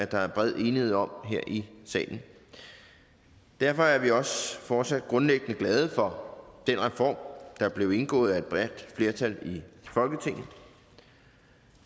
der er bred enighed om her i salen derfor er vi også fortsat grundlæggende glade for den reform der blev indgået af et bredt flertal i folketinget